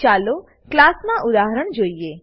ચાલો ક્લાસ નાં ઉદાહરણ જોઈએ